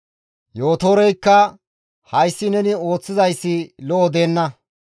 Yootoreykka, «Hayssi neni ooththizayssi lo7o deenna.